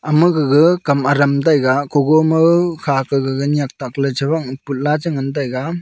ama gaga kam adam taiga kogo ma khaka gaga nyiak takley chaphang putla che ngan taiga.